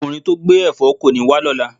Okunrin to gbe èfó koni wa lola